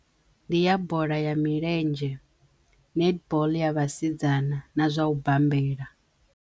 Ndi ya bola ya milenzhe, netball ya vhasidzana na zwa u bambela.